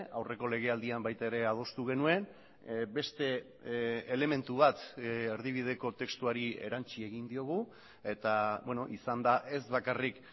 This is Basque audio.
aurreko legealdian baita ere adostu genuen beste elementu bat erdibideko testuari erantsi egin diogu eta izan da ez bakarrik